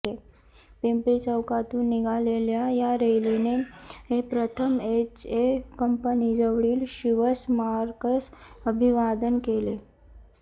पिंपरी चौकातून निघालेल्या या रॅलीने प्रथम एचए कंपनी जवळील शिवस्मारकास अभिवादन केले